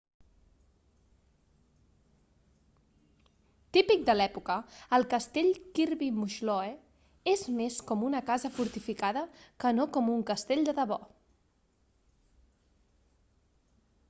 típic de l'època el castell kirby muxloe és més com una casa fortificada que no com un castell de debò